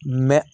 Mɛ